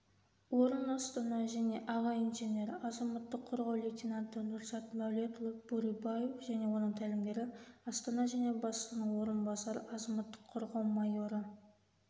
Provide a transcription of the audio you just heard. орын астана және аға инженері азаматық қорғау лейтенанты нұрзат мәулетұлы бурибаев және оның тәлімгері астана және бастығының орынбасары азаматық қорғау майоры